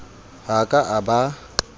ha a ka a ba